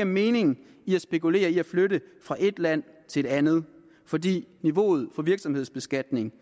er mening i at spekulere i at flytte fra et land til et andet fordi niveauet for virksomhedsbeskatning